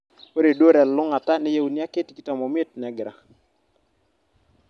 ore duo telulungata neyieuni ake tikitam oimiet negira